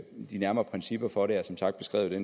de nærmere principper for det er som sagt beskrevet